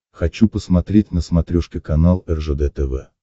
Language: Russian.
хочу посмотреть на смотрешке канал ржд тв